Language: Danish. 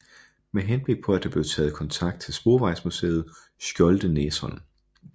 Med henblik på det blev der taget kontakt til Sporvejsmuseet Skjoldenæsholm